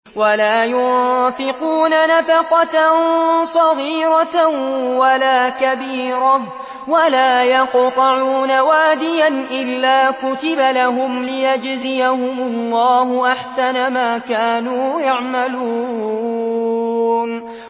وَلَا يُنفِقُونَ نَفَقَةً صَغِيرَةً وَلَا كَبِيرَةً وَلَا يَقْطَعُونَ وَادِيًا إِلَّا كُتِبَ لَهُمْ لِيَجْزِيَهُمُ اللَّهُ أَحْسَنَ مَا كَانُوا يَعْمَلُونَ